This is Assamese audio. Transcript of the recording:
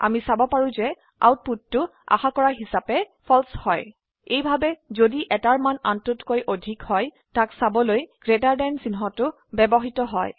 আমি চাব পাৰো যে আউটপুটটো আশা কৰা হিচাপে ফালছে হয় এইভাবে যদি এটাৰ মান আনটোতকৈ অধিক হয় তাক চাবলৈ গ্ৰেটাৰ দেন চিহ্নটো ব্যবহৃত হয়